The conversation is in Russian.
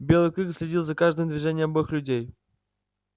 белый клык следил за каждым движением обоих людей